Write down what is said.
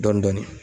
Dɔɔnin dɔɔnin